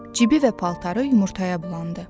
Cibi və paltarı yumurtaya bulandı.